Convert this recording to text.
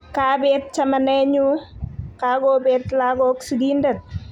Kaabet chamanenyu, kakobeet lagok sigindet.